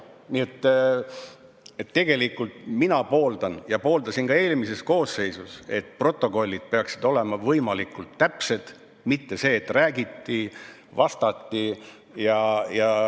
Nii et tegelikult mina pooldan ja pooldasin ka eelmises koosseisus, et protokollid peaksid olema võimalikult täpsed, mitte nii, et räägiti, vastati.